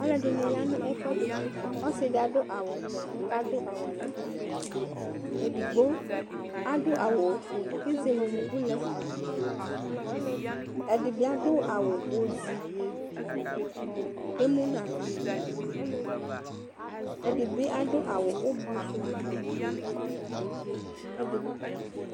Alʋɛdɩnɩ ya nʋ ɛfʋɛdɩ Ɔsɩ dɩ adʋ awʋvɛ kʋ adʋ awalaku Edigbo adʋ awʋ ofue kʋ ezele unuku lɛ Ɛdɩ bɩ adʋ awʋ ozi kʋ emu nʋ aɣla Ɛdɩ bɩ adʋ awʋ ʋblʋ sʋ kʋ ɛdɩ b